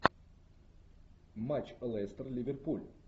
матч лестер ливерпуль